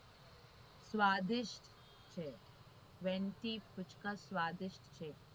સ્વાદિષ્ટ twenty પૂચકા સ્વાદિષ્ટ છે.